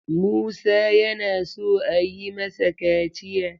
Musa yana so a yi masa kaciya.